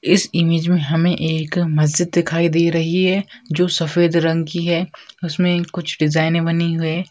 इस इमेज में हमें एक मस्जिद दिखाई दे रही है जो सफ़ेद रंग की है उसमें कुछ डिज़ाइने बनी हुए --